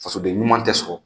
Fasoden ɲuman tɛ sɔrɔ